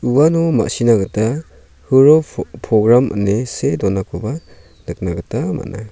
uano ma·sina gita huro po-program ine see donakoba nikna gita man·a.